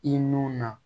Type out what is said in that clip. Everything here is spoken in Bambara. I nun na